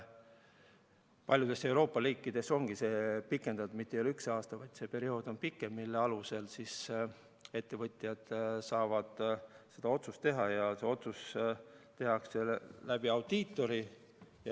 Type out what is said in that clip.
Paljudes Euroopa riikides ongi seda pikendatud: see periood ei ole mitte üks aasta, vaid see periood on pikem, mille alusel ettevõtjad saavad seda otsust teha ja see tehakse audiitori kaudu.